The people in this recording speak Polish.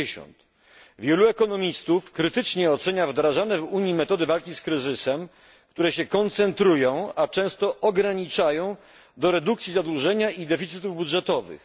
50. Wielu ekonomistów krytycznie ocenia wdrażanie w Unii metody walki z kryzysem, które się koncentrują, a często ograniczają, do redukcji zadłużenia i deficytów budżetowych.